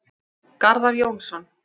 Garðar Jónsson